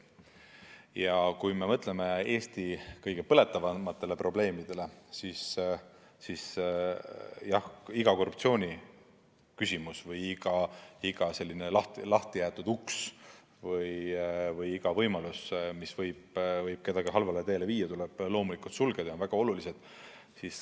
Ja kui me mõtleme Eesti kõige põletavamatele probleemidele, siis iga korruptsiooniküsimus, iga selline lahti jäetud uks või iga võimalus, mis võib kellegi halvale teele viia, tuleb loomulikult sulgeda.